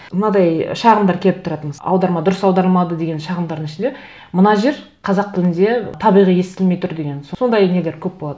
мынадай шағымдар келіп тұрады аударма дұрыс аударылмады деген шағымдардың ішінде мына жер қазақ тілінде табиғи естілмей тұр деген сондай нелер көп болады